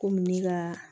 Komi ne ka